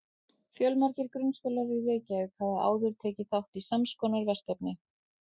Fjölmargir grunnskólar í Reykjavík hafa áður tekið þátt í sams konar verkefni.